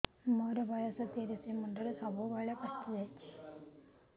ମୋର ବୟସ ତିରିଶ ମୁଣ୍ଡରେ ସବୁ ବାଳ ପାଚିଯାଇଛି